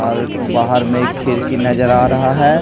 और बाहर में एक खिड़की नजर आ रहा है।